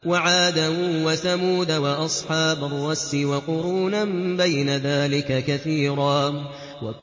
وَعَادًا وَثَمُودَ وَأَصْحَابَ الرَّسِّ وَقُرُونًا بَيْنَ ذَٰلِكَ كَثِيرًا